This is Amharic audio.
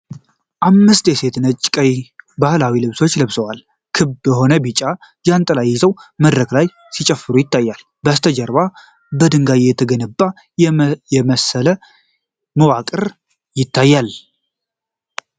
አምስት ሴቶች ነጭና ቀይ ባህላዊ ልብሶችን ለብሰው፣ ክብ የሆኑ ቢጫ ጃንጥላዎችን ይዘው መድረክ ላይ ሲጨፍሩ ይታያል። ከበስተጀርባ በድንጋይ የተገነባ የመሰለ መዋቅር ይታያል።